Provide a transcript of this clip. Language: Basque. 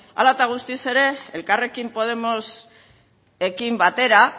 hala eta guztiz ere elkarrekin podemosekin batera